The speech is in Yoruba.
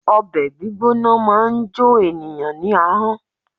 Obè gbígbóná máa n jo ènìyãn ní ahón